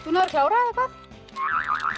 að klára